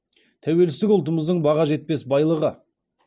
тәуелсіздік ұлтымыздың баға жетпес байлығы